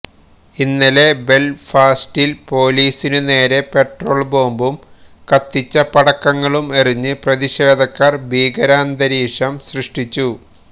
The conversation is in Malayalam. ഇന്നലെ ബെൽഫാസ്റ്റിൽ പൊലീസിനു നേരെ പെട്രോൾ ബോംബും കത്തിച്ച പടക്കങ്ങളും എറിഞ്ഞ് പ്രതിഷേധക്കാർ ഭീകരാന്തരീക്ഷം സൃഷ്ടിച്ചു